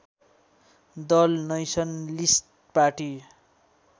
Dal nationalist party